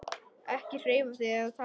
Ekki hreyfa þig eða tala.